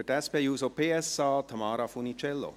Für die SP-JUSO-PSA-Fraktion, Tamara Funiciello.